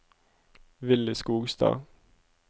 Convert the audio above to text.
Willy Skogstad